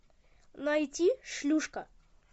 найти шлюшка